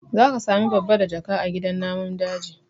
Za ka sami babbadajaka a gidan namun daji